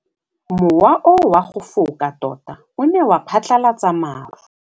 Mowa o wa go foka tota o ne wa phatlalatsa maru.